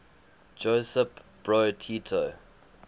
josip broz tito